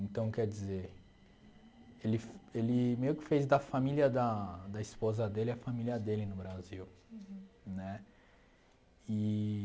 Então, quer dizer, ele fe ele meio que fez da família da da esposa dele a família dele no Brasil né eee